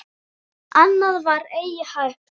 Annað var eigi hægt.